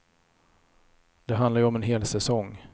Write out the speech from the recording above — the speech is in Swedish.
Det handlar ju om en hel säsong.